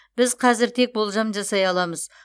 біз қазір тек болжам жасай аламыз